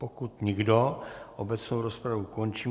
Pokud nikdo, obecnou rozpravu končím.